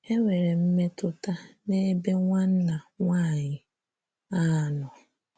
Enwere mmetụta n’ebe nwanna nwanyị a nọ. ”